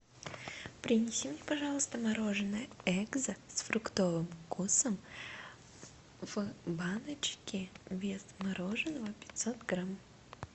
принеси мне пожалуйста мороженое экзо с фруктовым вкусом в баночке вес мороженого пятьсот грамм